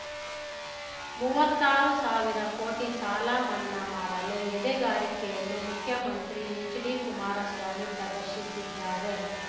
ಮೂವತ್ತಾರು ಸಾವಿರ ಕೋಟಿ ಸಾಲಮನ್ನಾ ಮಾಡಲು ಎದೆಗಾರಿಕೆಯನ್ನು ಮುಖ್ಯಮಂತ್ರಿ ಎಚ್‌ಡಿಕುಮಾರಸ್ವಾಮಿ ಪ್ರದರ್ಶಿಸಿದ್ದಾರೆ